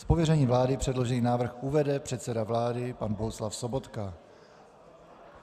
Z pověření vlády předložený návrh uvede předseda vlády pan Bohuslav Sobotka.